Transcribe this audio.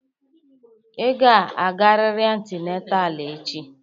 Ị ga-agarịrị antinetal echi!